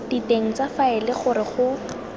diteng tsa faele gore go